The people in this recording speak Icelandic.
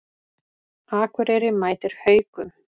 Akureyri mætir Haukum